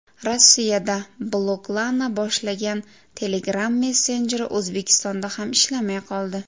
Rossiyada bloklana boshlagan Telegram messenjeri O‘zbekistonda ham ishlamay qoldi.